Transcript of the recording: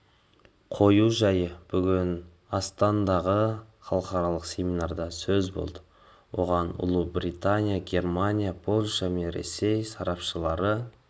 қою жайы бүгін астанадағы халықаралық семинарда сөз болды оған ұлыбритания германия польша мен ресей сарапшылары